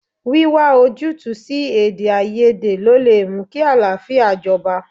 Wíwá ojútùú sí Èdèáiyedé ló lè mú kí àlàáfíà jọba.